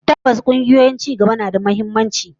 Tabbas, kungiyoyi na cigaba suna da muhimmanci